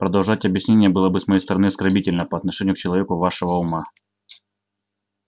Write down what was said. продолжать объяснение было бы с моей стороны оскорбительно по отношению к человеку вашего ума